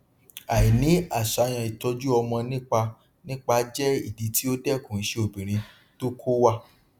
àìní àṣàyàn ìtọjú ọmọ nípa nípa jẹ ìdí tí ó dẹkun iṣẹ obìnrin tó kó wá